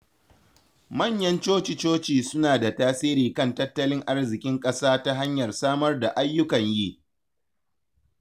Manyan coci-coci suna da tasiri kan tattalin arziƙin ƙasa ta hanyar samar da ayyukan yi.